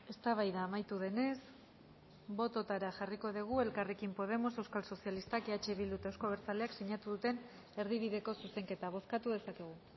eztabaida amaitu denez bototara jarriko dugu elkarrekin podemos euskal sozialistak eh bildu eta euzko abertzaleak sinatu duten erdibideko zuzenketa bozkatu dezakegu